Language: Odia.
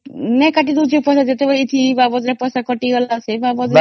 କଣ ଏ fees ସେ fees କରିକି